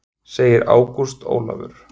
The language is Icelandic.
Segir Ágúst Ólafur.